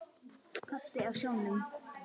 Pabbi á sjónum.